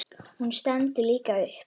Hún stendur líka upp.